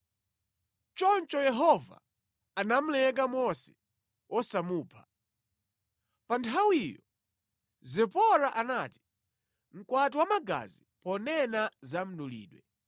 Choncho Yehova anamuleka Mose wosamupha. Pa nthawiyo, Zipora anati, “Mkwati wa magazi,” ponena za mdulidwe.